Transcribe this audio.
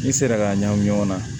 N'i sera k'a ɲagami ɲɔgɔn na